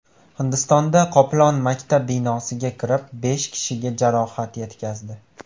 Hindistonda qoplon maktab binosiga kirib, besh kishiga jarohat yetkazdi .